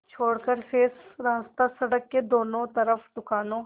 छोड़कर शेष रास्ता सड़क के दोनों तरफ़ दुकानों